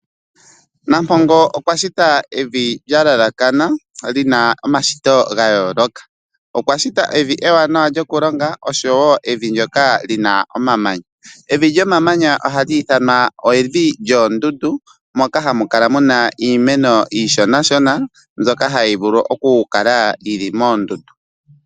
Nampongo okwa shita evi lya yelekana lina omashito ga yooloka. Okwa shita evi ewanawa lyokulonga oshowo evi ndyoka lina lyomamanya. Evi lyomamanya ohali ithanwa evi lyoondundu moka hamu kala muna iimeno iishonashona mbyoka hayi vulu okukala yili moondundu.